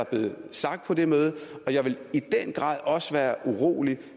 blevet sagt på det møde og jeg vil i den grad også være urolig